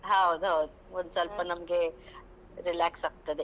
ಹೌದೌದು. ಒಂದ್ಸೊಲ್ಪ ನಮ್ಗೇ relax ಆಗ್ತದೆ.